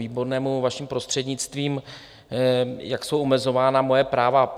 Výbornému vaším prostřednictvím, jak jsou omezována moje práva.